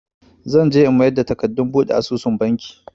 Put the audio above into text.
Zan je in mayar da takardun buɗe asusun Banki.